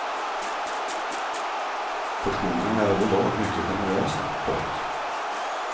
Portionerna är över lag mycket generösa. punkt